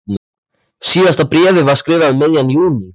Síðasta bréfið var skrifað um miðjan júní.